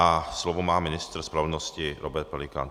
A slovo má ministr spravedlnosti Robert Pelikán.